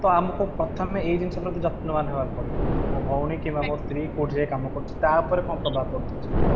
ତ ଆମକୁ ପ୍ରଥମେ ଏଇ ଜିନିଷ ପ୍ରତି ଯତ୍ନବାନ ହେବାକୁ ପଡିବ ମୋ ଭଉଣୀ କିମ୍ବା ମୋ ସ୍ତ୍ରୀ କୋଉଠି ଯାଇଁ କାମ କରୁଛନ୍ତି ତାଉପରେ କ'ଣ ପ୍ରଭାବ ପଡୁଛି ?